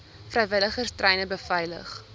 vrywilligers treine beveilig